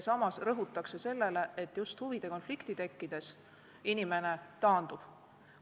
Samas rõhutakse sellele, et huvide konflikti tekkides inimene taandub.